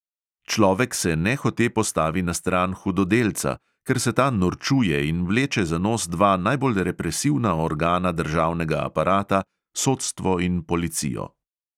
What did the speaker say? Človek se nehote postavi na stran hudodelca, ker se ta norčuje in vleče za nos dva najbolj represivna organa državnega aparata – sodstvo in policijo.